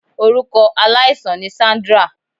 Orukọ alaisan ni Sandra